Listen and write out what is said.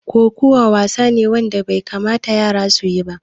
Koƙawa wasa ne wanda bai kamata yara su yi ba.